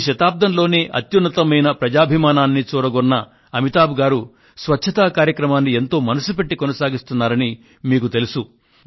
ఈ శతాబ్దంలోనే అత్యున్నతమైన ప్రజాభిమానాన్ని చూరగొన్న అమితాబ్ గారు స్వచ్ఛత కార్యక్రమాన్ని ఎంతో మనసుపెట్టి కొనసాగిస్తున్నారని మీకు తెలుసు